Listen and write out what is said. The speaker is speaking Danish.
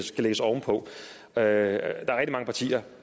skal lægges ovenpå der er rigtig mange partier